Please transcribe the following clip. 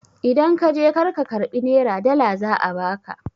In ka je kar ka karɓi nera, dala za a ba ka!